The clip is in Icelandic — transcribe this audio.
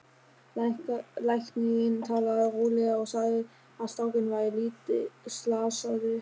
Læknirinn talaði rólega og sagði að strákurinn væri lítið slasaður.